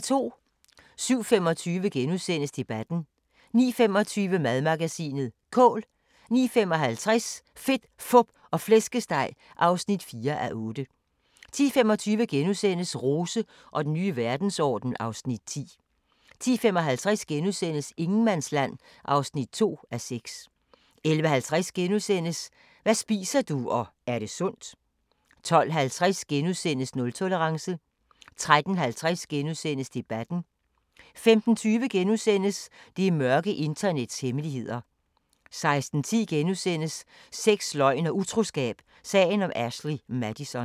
07:25: Debatten * 09:25: Madmagasinet: Kål 09:55: Fedt, Fup og Flæskesteg (4:8) 10:25: Rose og den nye verdensorden (Afs. 10)* 10:55: Ingenmandsland (2:6)* 11:50: Hvad spiser du – og er det sundt? * 12:50: Nultolerance * 13:50: Debatten * 15:20: Det mørke internets hemmeligheder * 16:10: Sex, løgn og utroskab – sagen om Ashley Madison *